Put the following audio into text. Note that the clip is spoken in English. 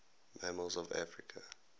mammals of africa